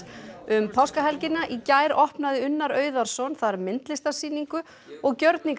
um páskahelgina í gær opnaði Unnar þar myndlistarsýningu og